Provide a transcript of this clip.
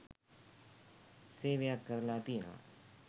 සේවයක් කරලා තියෙනවා.